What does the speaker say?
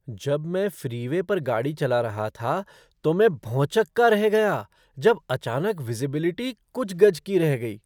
जब मैं फ़्रीवे पर गाड़ी चला रहा था तो मैं भौंचक्का रह गया जब अचानक विज़िबिलिटी कुछ गज की रह गई।